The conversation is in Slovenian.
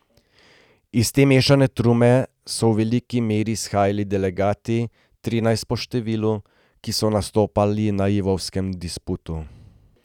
Iz te mešane trume so v veliki meri izhajali delegati, trinajst po številu, ki so nastopali na lvovskem disputu.